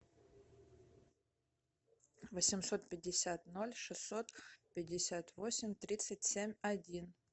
восемьсот пятьдесят ноль шестьсот пятьдесят восемь тридцать семь один